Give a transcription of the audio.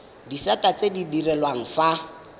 disata tse di direlwang fa